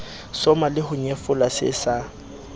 soma leho nyefola se sa